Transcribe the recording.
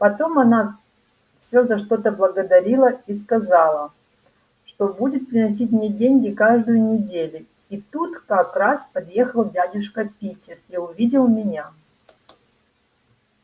потом она всё за что-то благодарила и сказала что будет приносить мне деньги каждую недели и тут как раз подъехал дядюшка питер и увидел меня